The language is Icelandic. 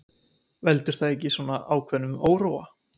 Veldur það ekki svona ákveðnum óróa?